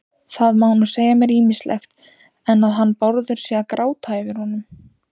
Það má nú segja mér ýmislegt, en að hann Bárður sé að gráta yfir honum